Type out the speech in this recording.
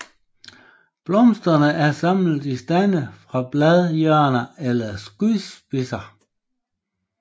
Blomsterne er samlet i stande fra bladhjørner eller skudspidser